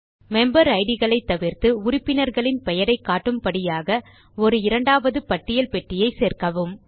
member Idகளை தவிர்த்து உறுப்பினர்களின் பெயரை காட்டும்படியாக ஒரு இரண்டாவது பட்டியல் பெட்டியை சேர்க்கவும்